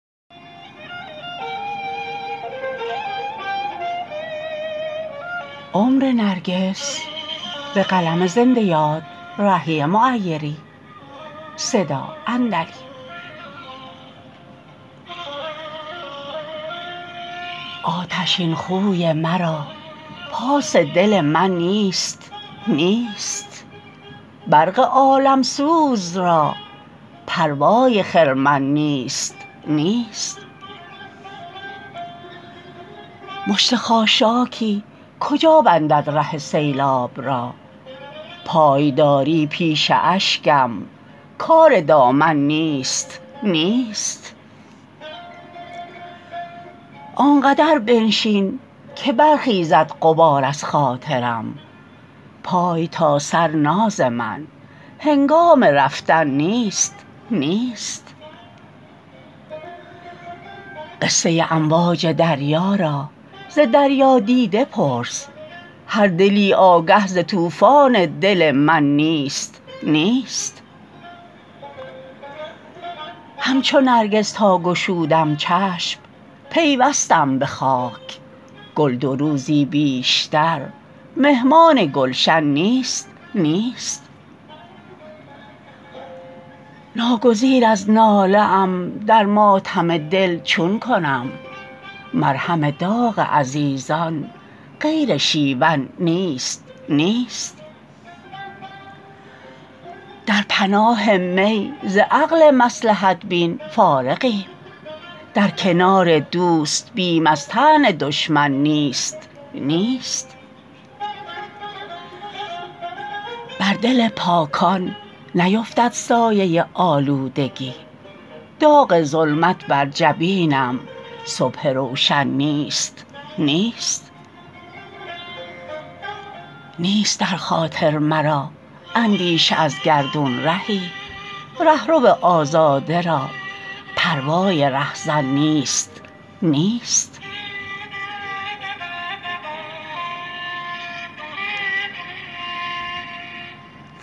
آتشین خوی مرا پاس دل من نیست نیست برق عالم سوز را پروای خرمن نیست نیست مشت خاشاکی کجا بندد ره سیلاب را پایداری پیش اشکم کار دامن نیست نیست آنقدر بنشین که برخیزد غبار از خاطرم پای تا سر ناز من هنگام رفتن نیست نیست قصه امواج دریا را ز دریادیده پرس هر دلی آگه ز طوفان دل من نیست نیست همچو نرگس تا گشودم چشم پیوستم به خاک گل دو روزی بیشتر مهمان گلشن نیست نیست ناگزیر از ناله ام در ماتم دل چون کنم مرهم داغ عزیزان غیر شیون نیست نیست در پناه می ز عقل مصلحت بین فارغیم در کنار دوست بیم از طعن دشمن نیست نیست بر دل پاکان نیفتد سایه آلودگی داغ ظلمت بر جبین صبح روشن نیست نیست نیست در خاطر مرا اندیشه از گردون رهی رهرو آزاده را پروای رهزن نیست نیست